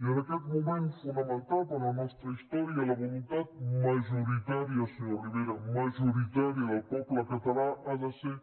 i en aquest moment fonamental per a la nostra història la voluntat majoritària senyor rivera majoritària del poble català ha de ser